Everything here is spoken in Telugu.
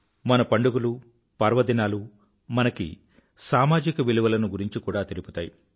మన పండుగలు పర్వదినాలు మనకి సామాజిక విలువలను గురించి కూడా తెలుపుతాయి